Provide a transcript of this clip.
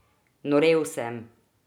Norel sem!